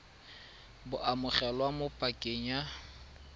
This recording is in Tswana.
bo amogelwa mo pakeng ya